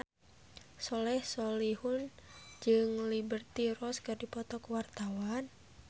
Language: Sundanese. Soleh Solihun jeung Liberty Ross keur dipoto ku wartawan